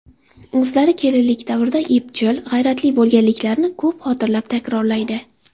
O‘zlari kelinlik davrida epchil, g‘ayratli bo‘lganliklarini ko‘p xotirlab, takrorlaydi.